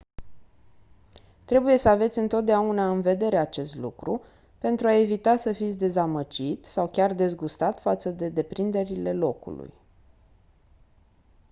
trebuie să aveți întotdeauna în vedere acest lucru pentru a evita să fiți dezamăgit sau chiar dezgustat față de deprinderile locului